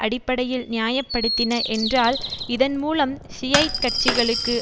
அடிப்படையில் நியாயப்படுத்தின என்றால் இதன்மூலம் ஷியைட் கட்சிகளுக்கு